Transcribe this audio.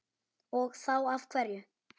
Og þá af hverju?